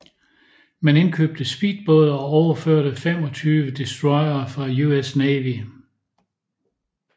Man indkøbte speedbåde og overførte 25 destroyere fra US Navy